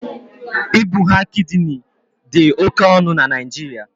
Ibugha kidini dị oké ọnụ na Naịjiria